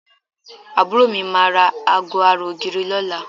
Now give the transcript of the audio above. Àbúrò mi máa ra aago ara ògiri lọ́la